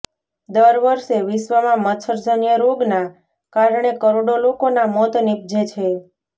દર વર્ષે વિશ્ર્વમાં મચ્છરજન્ય રોગના કારણે કરોડો લોકોના મોત નિપજે છે